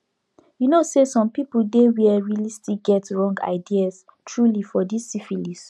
you know say some people dey where realy still get wrong ideas truely for this syphilis